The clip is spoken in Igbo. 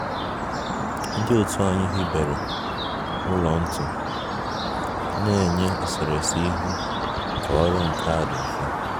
Ndị otu anyị hibere ụlọ ntu na-enye eserese ihu na ọrụ nka dị mfe